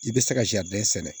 I bɛ se ka sɛnɛ